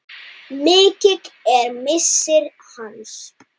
Mikill er missir hans.